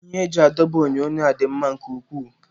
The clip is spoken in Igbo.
Ihe eji adọba onyonyo a dị mma nke ukwuu.